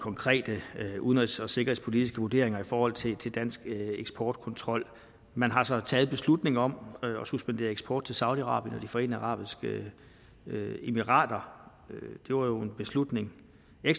konkrete udenrigs og sikkerhedspolitiske vurderinger i forhold til dansk eksportkontrol man har så taget en beslutning om at suspendere eksport til saudi arabien og forenede arabiske emirater det var jo en ekstraordinær beslutning